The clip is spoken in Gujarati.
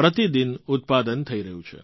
પ્રતિ દિન ઉત્પાદન થઈ રહ્યું છે